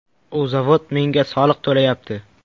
U zavod menga soliq to‘layapti.